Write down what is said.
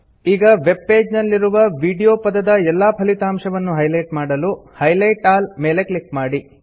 ಈಗ web page ನಲ್ಲಿರುವ video ಪದದ ಎಲ್ಲಾ ಫಲಿತಾಂಶವನ್ನು ಹೈಲೈಟ್ ಮಾಡಲು ಹೈಲೈಟ್ ಆಲ್ ಮೇಲೆ ಕ್ಲಿಕ್ ಮಾಡಿ